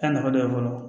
Taa nafa dɔ ye fɔlɔ